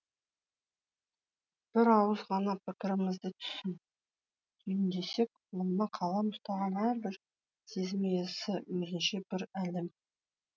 бір ауыз ғана пікірімізді түйіндесек қолына қалам ұстаған әрбір сезім иесі өзінше бір әлем